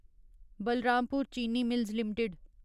Balrampur Chini mills limited